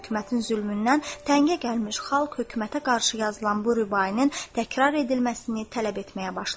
Hökumətin zülmündən təngə gəlmiş xalq hökumətə qarşı yazılan bu rübainin təkrar edilməsini tələb etməyə başladı.